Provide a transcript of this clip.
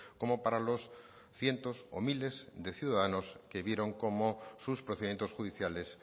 como para los cientos o miles de ciudadanos que vieron cómo sus procedimientos judiciales